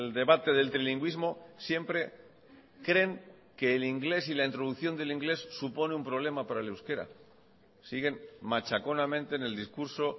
debate del trilingüismo siempre creen que el inglés y la introducción del inglés supone un problema para el euskera siguen machaconamente en el discurso